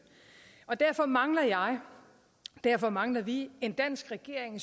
derfor mangler jeg og derfor mangler vi en dansk regering